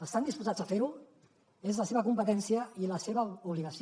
estan disposats a fer ho és la seva competència i la seva obligació